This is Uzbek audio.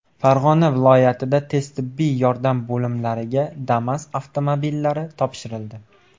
Farg‘ona viloyatida tez tibbiy yordam bo‘limlariga Damas avtomobillari topshirildi.